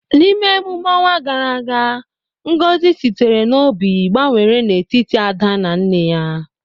N’ime emume ọnwa gara aga, ngozi sitere n’obi gbanwere n’etiti Ada na nne ya.